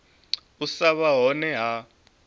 u sa vha hone ha